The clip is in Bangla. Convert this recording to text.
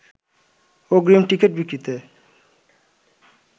অগ্রিম টিকেট বিক্রিতে